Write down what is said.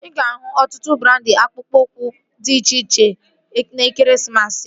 Ị ga-ahụ ọtụtụ brandị akpụkpọ ụkwụ dị iche iche n'ekeresimesi a